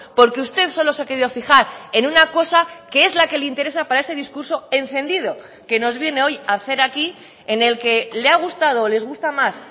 porque usted solo se ha querido fijar en una cosa que es la que le interesa para ese discurso encendido que nos viene hoy a hacer aquí en el que le ha gustado o les gusta más